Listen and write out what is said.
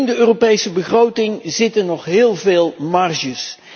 In de Europese begroting zitten nog heel veel marges.